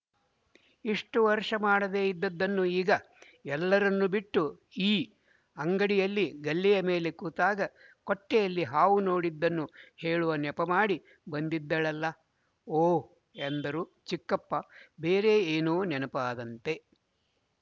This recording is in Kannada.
ಇಷ್ಟು ವರ್ಷ ಮಾಡದೇ ಇದ್ದದ್ದನ್ನು ಈಗಎಲ್ಲರನ್ನು ಬಿಟ್ಟು ಈ ಅಂಗಡಿಯಲ್ಲಿ ಗಲ್ಲೆಯ ಮೇಲೆ ಕೂತಾಗ ಕೊಟ್ಟಿಗೆಯಲ್ಲಿ ಹಾವು ನೊಡಿದ್ದನ್ನು ಹೇಳುವ ನೆಪಮಾಡಿ ಬಂದಿದ್ದಳಲ್ಲ ಓಹ್ ಎಂದರು ಚಿಕ್ಕಪ್ಪಬೇರೆ ಏನೋ ನೆನಪಾದಂತೆ